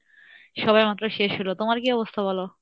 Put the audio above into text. সবে মাত্র শেষ হলো তোমার কী অবস্থা বলো?